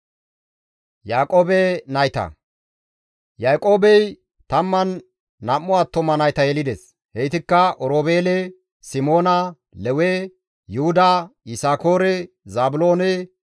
Yaaqoobey 12 attuma nayta yelides; heytikka Oroobeele, Simoona, Lewe, Yuhuda, Yisakoore, Zaabiloone,